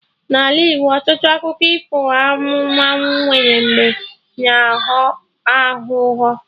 N'Ala Igbo, ọtụtụ akụkọ ifo anụmanụ nwere mbe na aghọ aghụghọ